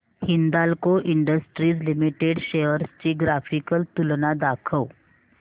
Hindalco industries limited shares ची graphical तुलना दाखव